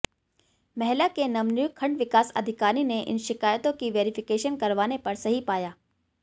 मैहला के नवनियुक्त खंड विकास अधिकारी ने इन शिकायतों की वेरिफिकेशन करवाने पर सही पाया